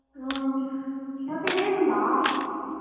ಹಾ ಮತ್ತೆ ಹೇಗುಂಟಾ .